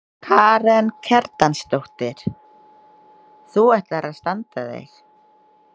Karen Kjartansdóttir: Þú ætlar að standa þig?